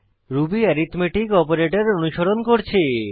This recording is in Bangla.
রুবি এরিথম্যাটিক অপারেটর অনুসরণ করছে